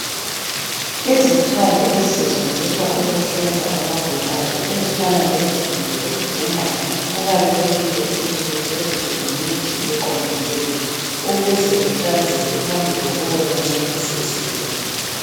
Izikhali ezisetshenziswa ukuhlinza abagulayo ezifana lezigelo lengqamu kubalulekile ukuthi kugeziswe ngemithi eqondileyo ukuze kuhlanzeke phambi kokuba kuncedise izigulani.